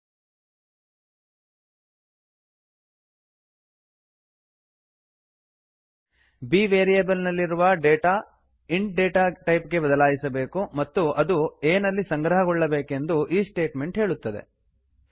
b variable ನಲ್ಲಿರುವ data int int data type ಗೆ ಬದಲಾಯಿಸಬೇಕು ಮತ್ತು ಅದು a ನಲ್ಲಿ ಸಂಗ್ರಹಗೊಳ್ಳಬೇಕೆಂದು ಈ ಸ್ಟೇಟ್ಮೆಂಟ್ ಹೇಳುತ್ತದೆ